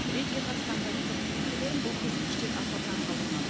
рейдке қатысқан полиция қызметкерлерін бұл көрсеткіштер аса таңғалдырмады